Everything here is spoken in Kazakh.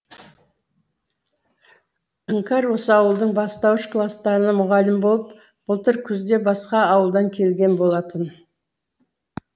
іңкәр осы ауылдың бастауыш кластарына мұғалім болып былтыр күзде басқа ауылдан келген болатын